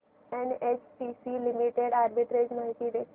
NHPC Limited arbitrage माहिती दे